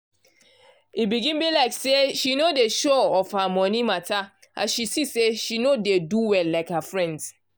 e begin be like say she no dey sure of her monie matter as she see say she no dey do well like her friends.